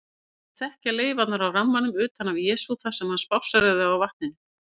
Þeir þóttust þekkja leifarnar af rammanum utan af Jesú þar sem hann spásséraði á vatninu.